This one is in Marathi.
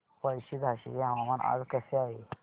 पळशी झाशीचे हवामान आज कसे आहे